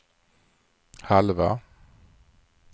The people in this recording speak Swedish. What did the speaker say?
halva